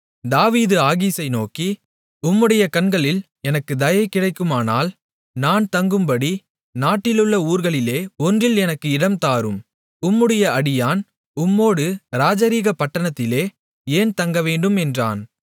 தாவீது ஆகீசை நோக்கி உம்முடைய கண்களில் எனக்குத் தயை கிடைக்குமானால் நான் தங்கும்படி நாட்டிலுள்ள ஊர்களிலே ஒன்றில் எனக்கு இடம் தாரும் உம்முடைய அடியான் உம்மோடு இராஜரீக பட்டணத்திலே ஏன் தங்கவேண்டும் என்றான்